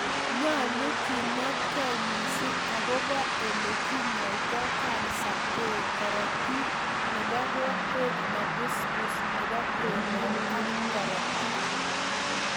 Nyolu kinetkei missing agobo ele kinyoitoi kansa beo korotik nebo kokwet nebusbus nebo kwenet ak korotik